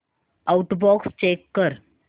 outbox check कर